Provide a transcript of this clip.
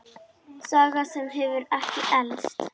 Saga sem hefur ekki elst.